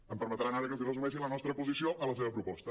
em permetran ara que els resumeixi la nostra posició a la seva proposta